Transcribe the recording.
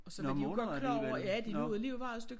Nåh måneder alligevel nåh